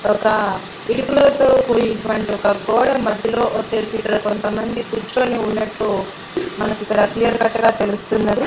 ఒక రేకులతో కూడిన కూడినటువంటి గోడ మధ్యలో వచ్చేసి ఇక్కడ కొంతమంది కూర్చొని ఉన్నట్టు మనకు ఇక్కడ క్లియర్ కట్ గా తెలుస్తూన్నది.